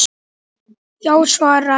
Já, svaraði hann.